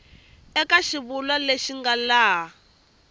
eka xivulwa lexi nga laha